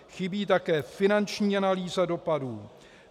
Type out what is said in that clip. Chybí také finanční analýza dopadů.